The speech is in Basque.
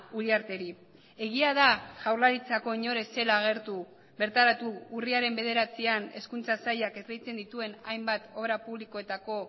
uriarteri egia da jaurlaritzako inor ez zela agertu bertaratu urriaren bederatzian hezkuntza sailak esleitzen dituen hainbat obra publikoetako